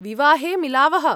विवाहे मिलावः!